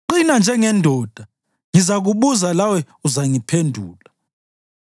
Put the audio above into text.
Qina njengendoda; ngizakubuza, lawe uzangiphendula.